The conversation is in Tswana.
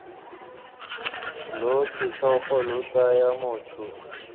lo setlhogo lo tsaya motho